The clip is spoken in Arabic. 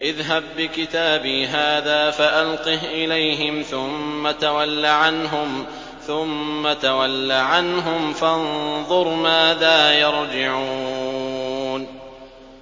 اذْهَب بِّكِتَابِي هَٰذَا فَأَلْقِهْ إِلَيْهِمْ ثُمَّ تَوَلَّ عَنْهُمْ فَانظُرْ مَاذَا يَرْجِعُونَ